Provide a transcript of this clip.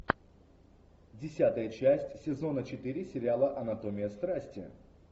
десятая часть сезона четыре сериала анатомия страсти